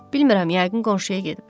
Bilmirəm, yəqin qonşuya gedib.